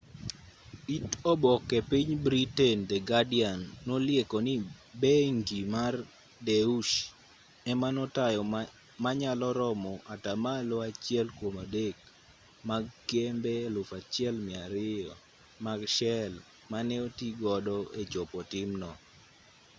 it oboke mar piny britain the guardian nolieko ni bengi mar duetsche ema notayo manyalo romo atamalo achiel kuom adek mag kembe 1200 mag shell mane oti godo e chopo timno